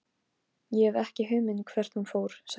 Ég hef ekki hugmynd um hvert hún fór, sagði hann.